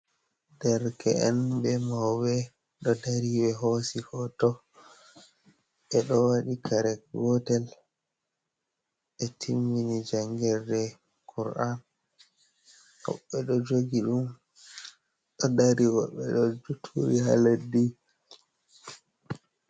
Derke’en be mauɓe ɗo dari ɓe hosi hoto. Ɓe ɗo waɗi kare gotel, ɓe timmini jangirde kur’an, woɓɓe ɗo jogi ɗum ɗo dari, wooɓɓe ɗo turi haa leddi.